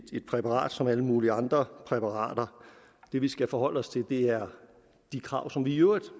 et præparat som alle mulige andre præparater det vi skal forholde os til er de krav som vi i øvrigt